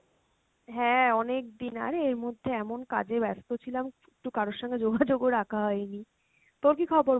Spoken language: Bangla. হ্যাঁ অনেকদিন, আরে এরমধ্যে এমন কাজে ব্যাস্ত ছিলাম তো কারোর সঙ্গে যোগাযোগ ও রাখা হয়নি, তোর কী খবর